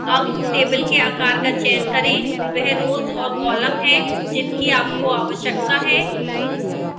अब table के आकार का चयन करें वह rows और columns हैं जिनकी आपको आवश्यकता है